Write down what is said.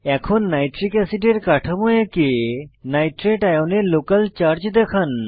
এখন নাইট্রিক অ্যাসিডের কাঠামো এঁকে নাইট্রেট আয়নে লোকাল চার্জ দেখান